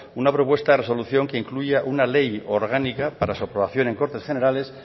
una propuesta resolución que incluya una ley orgánica para su aprobación en cortes generales